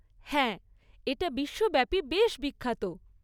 হ্যাঁ, এটা বিশ্বব্যাপী বেশ বিখ্যাত।